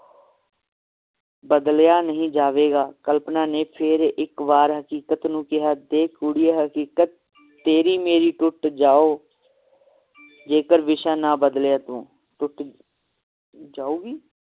ਬਦਲਿਆ ਨਹੀਂ ਜਾਵੇਗਾ ਕਲਪਨਾ ਨੇ ਫੇਰ ਇਕ ਵਾਰ ਹਕੀਕਤ ਨੂੰ ਕਿਹਾ ਦੇਖ ਕੁੜੀਏ ਹਕੀਕਤ ਤੇਰੀ ਮੇਰੀ ਟੁੱਟ ਜਾਓ ਜੇਕਰ ਵਿਸ਼ਾ ਨਾ ਬਦਲਿਆ ਤੂੰ ਟੁੱਟ ਜਾਊਗੀ?